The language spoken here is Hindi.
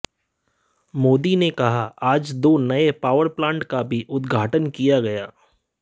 मोदी ने कहा कि आज दो नए पावर प्लांट का भी उद्घाटन किया गया